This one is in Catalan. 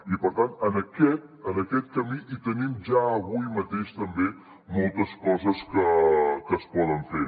i per tant en aquest camí hi tenim ja avui mateix també moltes coses que es poden fer